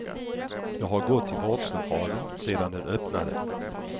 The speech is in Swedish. Jag har gått till vårdcentralen sedan den öppnade.